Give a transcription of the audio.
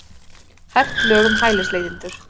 Hert lög um hælisleitendur